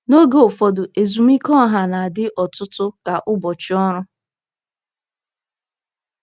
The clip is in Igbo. N'oge ụfọdụ, ezumike ọha na-adị ọtụtụ ka ụbọchị ọrụ.